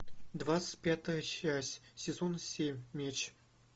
двадцать пятая часть сезон семь меч